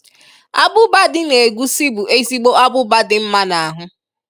Abụba dị n’egúsí bụ ezigbo abụba dị mma n'ahụ.